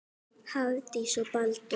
Hafdís og Baldur.